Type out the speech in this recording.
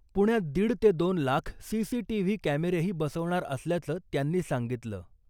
पुण्यात दीड ते दोन लाख सीसीटीव्ही कॅमेरेही बसवणार असल्याचं त्यांनी सांगितलं .